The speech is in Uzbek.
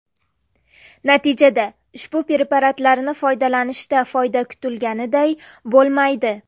Natijada, ushbu preparatlarni foydalanishda foyda kutilganiday bo‘lmaydi.